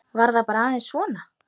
Var það bara aðeins svona?